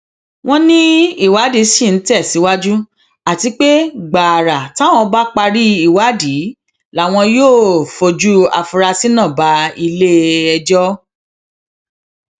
wọn ní ìwádìí ṣì ń tẹsíwájú àti pé gbàrà táwọn bá parí ìwádìí làwọn yóò fojú afurasí náà bá iléẹjọ